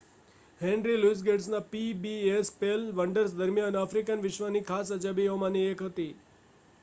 henry Louis ગેટ્સના PBS special Wonders દરમિયાન African વિશ્વની ખાસ અજાયબીઓમાંની એક હતી